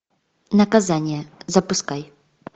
наказание запускай